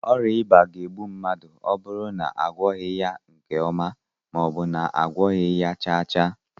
Oria iba na- egbu mmadu oburu na agwoghi ya nke oma, maobu na agwoghi ya chaa chaa